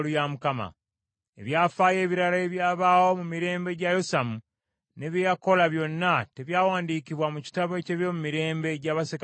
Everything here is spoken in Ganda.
Ebyafaayo ebirala ebyabaawo mu mirembe gya Yosamu, ne bye yakola byonna, tebyawandiikibwa mu kitabo eky’ebyomumirembe gya bassekabaka ba Yuda?